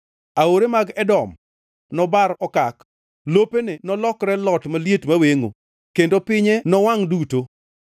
Aore mag Edom nobar okak, lopene nolokre lot maliet mawengʼo, kendo pinye nowangʼ duto!